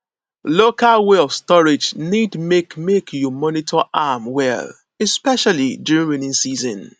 local way of storage need make make you monitor am well especially during rainy season